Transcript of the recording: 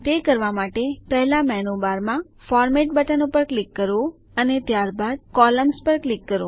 તે કરવા માટે પહેલા મેનૂ બારમાં ફોર્મેટ બટન પર ક્લિક કરો અને ત્યારબાદ કોલમ્ન્સ પર ક્લિક કરો